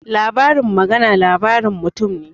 Labarin magana labarin mutum ne